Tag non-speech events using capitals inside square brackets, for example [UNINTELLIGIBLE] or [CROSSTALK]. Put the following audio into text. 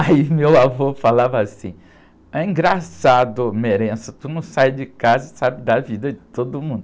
Aí meu avô falava assim, engraçado, ô, [UNINTELLIGIBLE] tu não sai de casa e sabe da vida de todo mundo.